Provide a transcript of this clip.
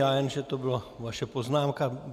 Já jen že to byla vaše poznámka.